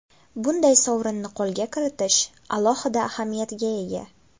Bunday sovrinni qo‘lga kiritish alohida ahamiyatga ega.